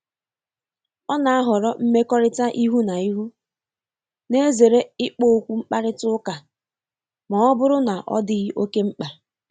Ọ na-ahọrọ mmekọrịta ihu na ihu, na-ezere ikpo okwu mkparịta uka ma ọ buru na odighi oke mkpa.